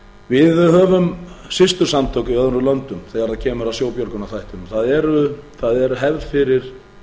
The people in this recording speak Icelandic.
við höfum systursamtök í öðrum löndum þegar kemur að sjóbjörgunarþættinum það er hefð fyrir